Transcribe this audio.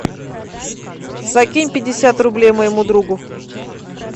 закинь пятьдесят рублей моему другу